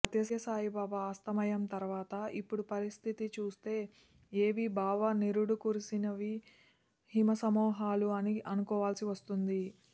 సత్య సాయిబాబా అస్తమయం తర్వాత ఇప్పుడు పరిస్థితి చూస్తే ఏవి బాబా నిరుడు కురిసిని హిమసమూహములు అని అనుకోవాల్సి వస్తోంది